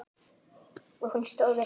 Og hún stóð við það.